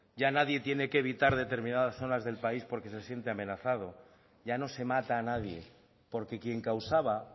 ya nadie tiene que evitar determinadas zonas del país porque se siente amenazado ya no se mata a nadie porque quien causaba